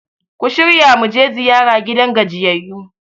ku shirya mu je ziyara gidan gajiyayyu!